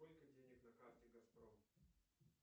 сколько денег на карте газпром